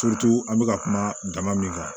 an bɛ ka kuma dama min kan